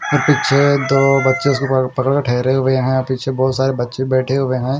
पीच्छे दो बच्चे उसको पक पकड़ कर ठहरे हुए हैं पीछे बहोत सारे बच्चे बेठे हुए हैं।